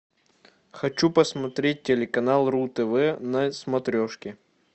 хочу посмотреть телеканал ру тв на смотрешке